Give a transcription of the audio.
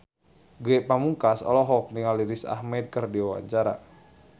Ge Pamungkas olohok ningali Riz Ahmed keur diwawancara